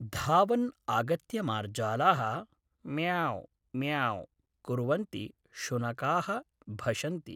धावन् आगत्य मार्जालाः म्याव् म्याव् कुर्वन्ति शुनकाः भषन्ति